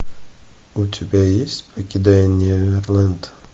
у тебя есть покидая неверленд